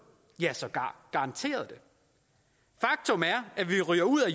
ja sågar garanterede faktum er at vi ryger ud af